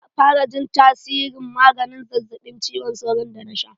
Na fara jin tasirin maganin zazzaɓin cizon sauron da na sha.